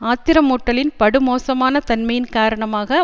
ஆத்திரமூட்டலின் படுமோசமான தன்மையின் காரணமாக